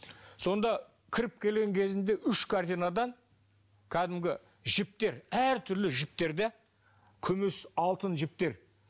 сонда кіріп келген кезінде үш картинадан кәдімгі жіптер әртүрлі жіптер де күміс алтын жіптер